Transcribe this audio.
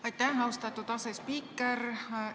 Aitäh, austatud asespiiker!